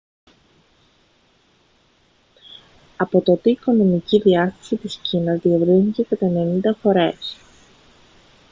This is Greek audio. από τότε η οικονομική διάσταση της κίνας διευρύνθηκε κατά 90 φορές